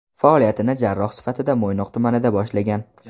Faoliyatini jarroh sifatida Mo‘ynoq tumanida boshlagan.